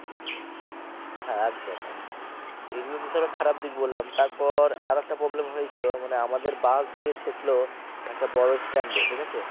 হ্যা একদম একদম এগুলো তো ধরো খারাপ দিক বললাম তারপর একটা problem হয়েছিলো মানে আমাদের বাস গিয়ে ঠেকল একটা বড় stand এ ঠিক আছে?